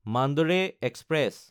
Mandore express